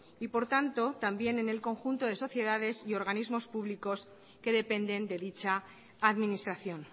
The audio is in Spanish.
y por tanto también en el conjunto de sociedades y organismos públicos que dependen de dicha administración